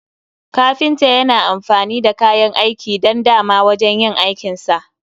kafinta Yana amfani da kayan aiki dan dama wajen yin aikinsa